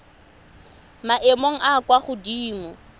maemong a a kwa godimo